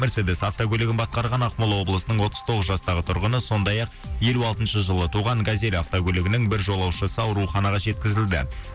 мерседес автокөлігін басқарған ақмола облысының отыз тоғыз жастағы тұрғыны сондай ақ елу алтыншы жылы туған газель автокөлігінің бір жолаушысы ауруханаға жеткізілді